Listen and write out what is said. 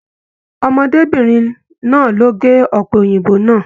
Ọmọdébinrin náa lo ge ọpẹ Òyìnbó náà.